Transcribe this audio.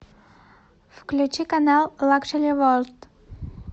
включи канал лакшери ворлд